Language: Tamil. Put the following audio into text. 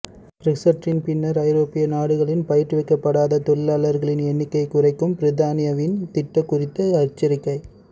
பிரெக்சிற்றின் பின்னர் ஐரோப்பிய நாடுகளின் பயிற்றுவிக்கப்படாத தொழிலாளர்களின் எண்ணிக்கையை குறைக்கும் பிரித்தானியாவின் திட்டம் குறித்து எச்சரிக்கை